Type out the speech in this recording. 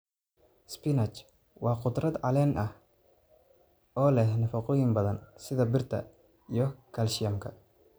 Spinach: Waa khudrad caleen ah oo leh nafaqooyin badan sida birta iyo kaalshiyamka.